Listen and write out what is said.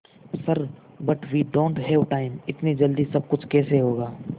sir but we don't have time इतनी जल्दी सब कुछ कैसे होगा